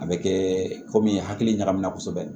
A bɛ kɛ komi hakili ɲagamina kosɛbɛ